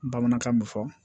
Bamanankan mun fɔ